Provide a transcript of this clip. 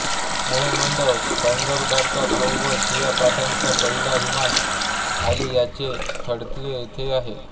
मुहंमद पैगंबराचा भाऊ व शिया पंथाचा पहिला इमाम अली ह्याचे थडगे येथे आहे